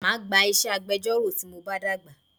Máa gba iṣẹ́ agbẹjọ́rò tí mo bá dàgbà